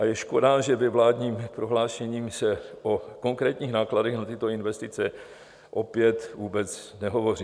A je škoda, že ve vládním prohlášení se o konkrétních nákladech na tyto investice opět vůbec nehovoří.